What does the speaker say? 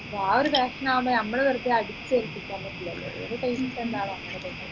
ആ ഒരു passion ആവുമ്പൊ നമ്മൾ വെറുതെ അടിച്ചേൽപ്പിക്കാൻ പറ്റില്ലല്ലോഅവരെ taste എന്താണ് അങ്ങനെ പൊയ്ക്കോട്ടേ